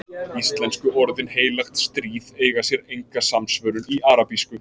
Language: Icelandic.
íslensku orðin „heilagt stríð“ eiga sér enga samsvörun í arabísku